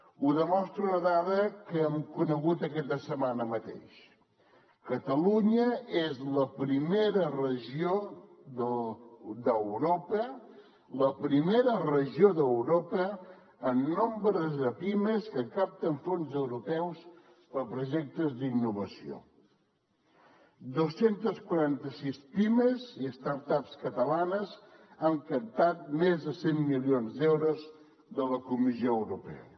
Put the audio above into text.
ho demostra una dada que hem conegut aquesta setmana mateix catalunya és la primera regió d’europa la primera regió d’europa en nombre de pimes que capten fons europeus per projectes d’innovació dos cents i quaranta sis pimes i start ups catalanes han captat més de cent milions d’euros de la comissió europea